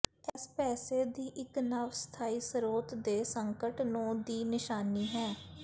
ਇਸ ਪੈਸੇ ਦੀ ਇੱਕ ਨਵ ਸਥਾਈ ਸਰੋਤ ਦੇ ਸੰਕਟ ਨੂੰ ਦੀ ਨਿਸ਼ਾਨੀ ਹੈ